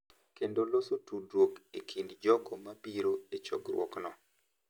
Kendo loso tudruok e kind jogo ma biro e chokruogno.